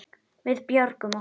Við björgum okkur.